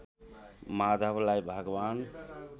माधवलाई भगवान्